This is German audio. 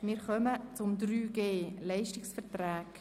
Wir kommen zu 3.g Leistungsverträge.